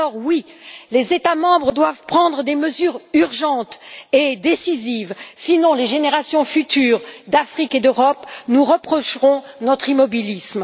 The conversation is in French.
Alors, oui, les États membres doivent prendre des mesures urgentes et décisives, sinon les générations futures d'Afrique et d'Europe nous reprocheront notre immobilisme.